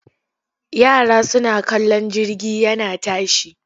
Yara suna kallon jirgi yana tashi.